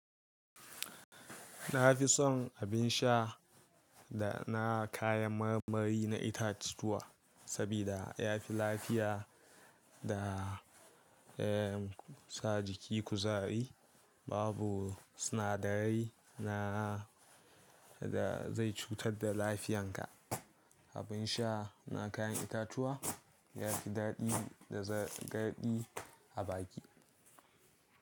Na fi son abin sha da na kayan marmari na itatuwa saboda ya fi lafiya da, eh, sa jiki kuzari. Babu sinadarai na da zai cutar da lafiyanka. Abin sha na kayan itatuwa ya fi daɗi da zar garɗi a baki.